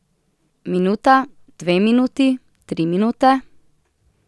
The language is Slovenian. Minuta, dve minuti, tri minute.